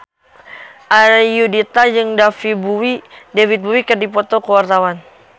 Ayudhita jeung David Bowie keur dipoto ku wartawan